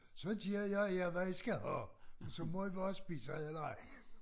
Så giver jeg jer hvad i skal have så må i bare spise et eller andet